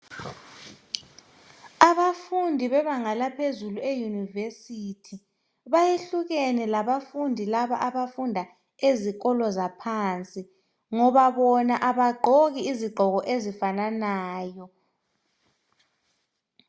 Abafundi bebanga laphezulu eyunivesithi bayehlukene labafundi laba abafunda ezikolo zaphansi ngoba bona abagqoki izigqoko ezifananayo.